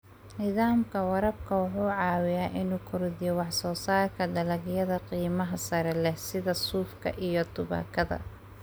Nidaamka waraabka wuxuu caawiyaa inuu kordhiyo wax soo saarka dalagyada qiimaha sare leh sida suufka iyo tubaakada.